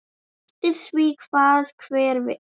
Eftir því hvað hver vill.